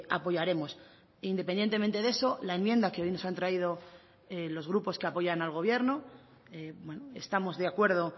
apoyaremos independientemente de eso la enmienda que hoy nos han traído los grupos que apoyan al gobierno estamos de acuerdo